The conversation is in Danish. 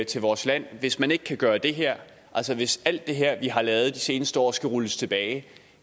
til vores land hvis man ikke kan gøre det her altså hvis alt det her vi har lavet de seneste år skal rulles tilbage